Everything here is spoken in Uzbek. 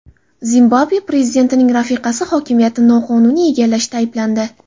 Zimbabve prezidentining rafiqasi hokimiyatni noqonuniy egallashda ayblandi.